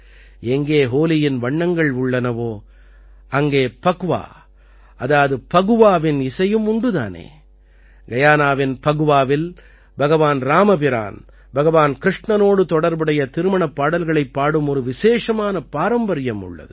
எங்கே ஹோலியின் வண்ணங்கள் உள்ளனவோ அங்கே பக்வா அதாவது ஃபகுவாவின் இசையும் உண்டு தானே கயானாவின் பக்வாவில் பகவான் இராமபிரான் பகவான் கிருஷ்ணனோடு தொடர்புடைய திருமணப் பாடல்களைப் பாடும் ஒரு விசேஷமான பாரம்பரியம் உள்ளது